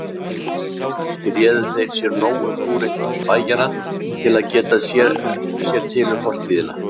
Kannski réðu þeir sér nógu glúrinn spæjara til að geta sér til um fortíðina.